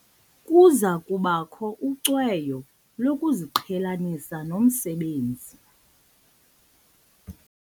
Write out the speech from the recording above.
Kuza kubakho ucweyo lokuziqhelanisa nomsebenzi.